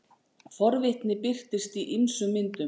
Forvitni birtist í ýmsum myndum.